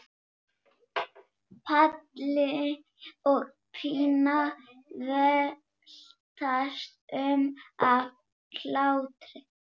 Palli og Pína veltast um af hlátri.